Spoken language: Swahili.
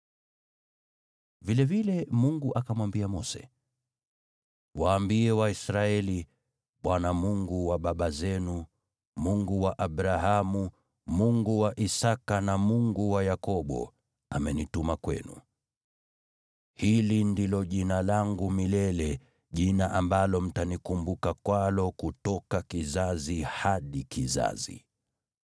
Vilevile Mungu akamwambia Mose, “Waambie Waisraeli, ‘ Bwana , Mungu wa baba zenu, Mungu wa Abrahamu, Mungu wa Isaki, na Mungu wa Yakobo amenituma kwenu.’ Hili ndilo Jina langu milele, Jina ambalo mtanikumbuka kwalo kutoka kizazi hadi kizazi.